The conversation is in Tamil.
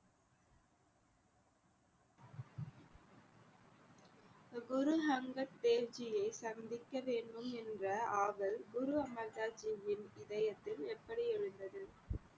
குரு அங்கத் தேவ் ஜியை சந்திக்க வேண்டும் என்ற ஆவல் குரு அமர்தாஸ் ஜியின் இதயத்தில் எப்படி எழுந்தது